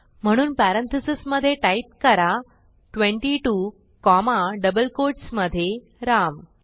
म्हणून पॅरेंथीसेस मधे टाईप करा 22 कॉमा डबल कोट्स मधे राम